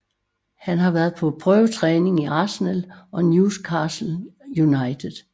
Han har været på prøvetræning i Arsenal og Newcastle United